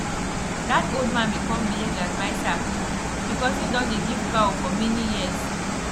that old man become village adviser because he don dey give cow for many years